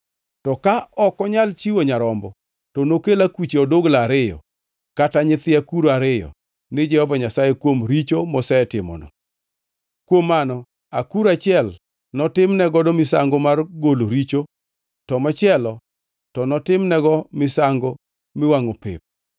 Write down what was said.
“ ‘To ka ok onyal chiwo nyarombo, to nokel akuche odugla ariyo kata nyithi akuru ariyo ni Jehova Nyasaye kuom richo mosetimono. Kuom mano, akuru achiel notimnego misango mar golo richo, to machielo to notimnego misango miwangʼo pep.